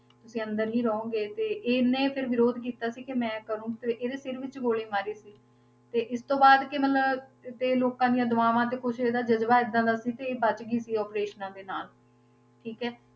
ਤੁਸੀਂ ਅੰਦਰ ਹੀ ਰਹੋਗੇ, ਤੇ ਇਹਨੇ ਫਿਰ ਵਿਰੋਧ ਕੀਤਾ ਸੀ ਕਿ ਮੈਂ ਕਰਾਂਗੀ, ਤੇ ਇਹਦੇ ਸਿਰ ਵਿੱਚ ਗੋਲੀ ਮਾਰੀ ਸੀ, ਤੇ ਇਸ ਤੋਂ ਬਾਅਦ ਕਿ ਮਤਲਬ ਤੇ ਲੋਕਾਂ ਦੀ ਦੁਆਵਾਂ ਤੇ ਕੁਛ ਇਹਦਾ ਜਜ਼ਬਾ ਏਦਾਂ ਦਾ ਸੀ ਤੇ ਇਹ ਬਚ ਗਈ ਸੀ operations ਦੇ ਨਾਲ, ਠੀਕ ਹੈ,